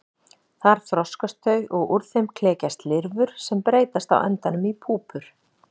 Þar þroskast þau og úr þeim klekjast lirfur sem breytast á endanum í púpur.